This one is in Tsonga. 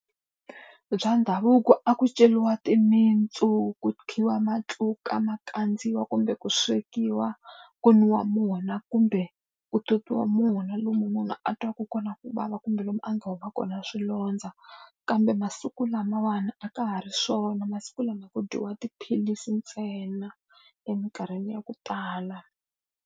Bya ndhavuko a ku ceriwa timintsu, ku khiwa matluka ma kandziwa kumbe ku swekiwa, ku nwiwa wona kumbe u tatiwa wona lomu munhu a twaku kona ku vava kumbe lomu a nga huma kona swilondza. Kambe masiku lamawani a ka ha ri swona, masiku lama ku dyiwa tiphilisi ntsena eminkarhini ya ku tala.